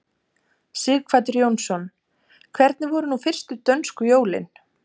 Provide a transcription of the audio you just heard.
Sighvatur Jónsson: Hvernig voru nú fyrstu dönsku jólin?